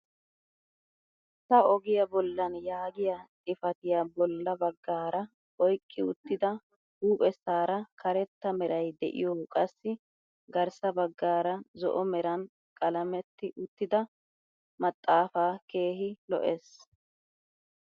Ta ogiyaa bollan yaagiyaa xifatiyaa bolla baggaara oyqqi uttida huuphphessaara karetta meray de'iyoo qassi garssa baggaara zo'o meran qalametti uttida maxaafaa keehi lo"ees!